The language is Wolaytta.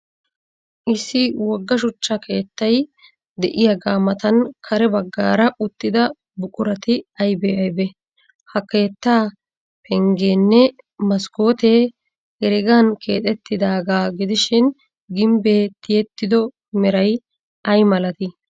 Issi wogga shuchcha keettay de'iyaaga matan kare baggaara uttida buqurati aybee aybee? Ha keettaa penggeenne maskkootee heregan keexettidaagaa gidishin, gimbbee tiyettido meray ay malatii?